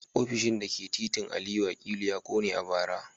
Ofishin da ke titin Aliyu Akilu ya kone a bara